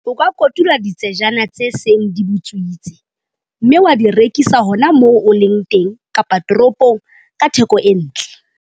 O ka kotula ditsejana tse seng di butswitse, mme wa di rekisa hona moo o leng teng kapa toropong ka theko e ntle.